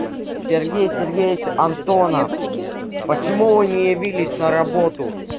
сергей сергеевич антонов почему вы не явились на работу